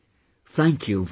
Thank you very much